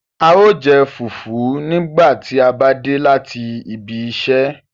Ào jẹ́ fufu nigba ti a ba de lati ìbi ìsẹ